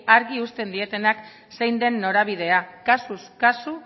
argi uzten dietenak zein den norabidea kasuz kasu